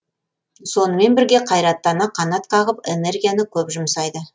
сонымен бірге қайраттана қанат қағып энергияны көп жұмсайды